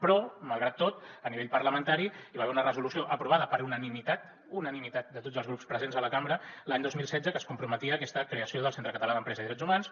però malgrat tot a nivell parlamentari hi va haver una resolució aprovada per unanimitat unanimitat de tots els grups presents a la cambra l’any dos mil setze que es comprometia a aquesta creació del centre català d’empresa i drets humans